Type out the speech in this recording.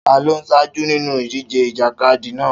Ta ló ń ṣáájú nínú ìdíje ìjàkadì náà?